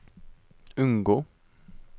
unngå